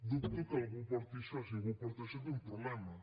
dubto que algú porti això si algú porta això té un problema